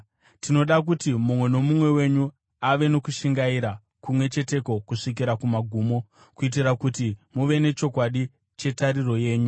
Tinoda kuti mumwe nomumwe wenyu ave nokushingaira kumwe cheteko kusvikira kumagumo, kuitira kuti muve nechokwadi chetariro yenyu.